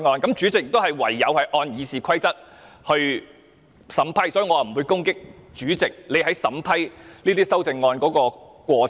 主席唯有按照《議事規則》來審批，所以我不會攻擊主席審批修正案的過程。